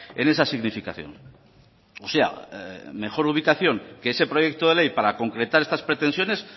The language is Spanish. en esa significación o sea mejor ubicación que ese proyecto de ley para concretar estas pretensiones